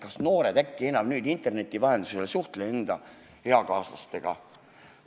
Kas noored äkki enam interneti vahendusel ei suhtlegi eakaaslastega?